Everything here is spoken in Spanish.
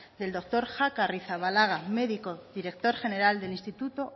del doctor jaca arrizabalaga médico director general del instituto